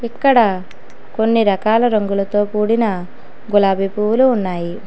ఇక్కడ కొన్ని రకాల రంగులతో కూడిన గులాబీ పువ్వులు ఉన్నాయి.